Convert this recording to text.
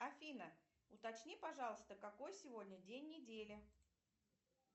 афина уточни пожалуйста какой сегодня день недели